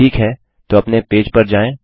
ठीक है तो अपने पेज पर जाएँ